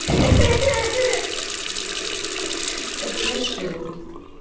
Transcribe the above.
ха-ха рассмешил